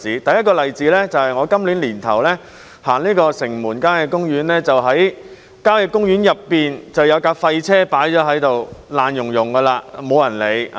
第一個例子是，我今年年初到城門郊野公園時，看到公園內有輛廢棄車輛，破爛不堪，沒人處理。